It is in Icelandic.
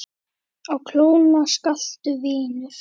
Á klónni slaka, vinur